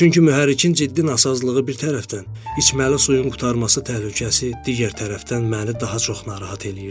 Çünki mühərrikin ciddi nasazlığı bir tərəfdən, içməli suyun qurtarması təhlükəsi digər tərəfdən məni daha çox narahat eləyirdi.